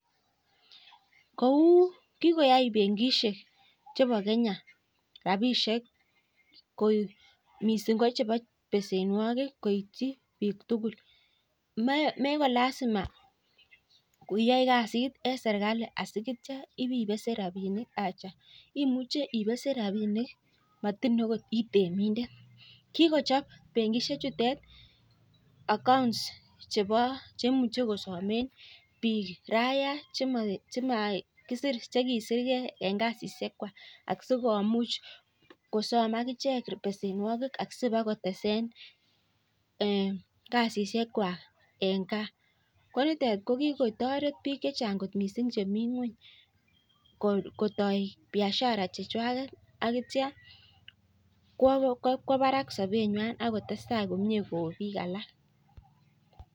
Makolazima iyaee kasi serkali sibesen rabinik imuchii ibesen rabishek (account) cheibaishe isamee imuchii ites sitesee kasichek eng gaa kikotorer bik chemii ngony missing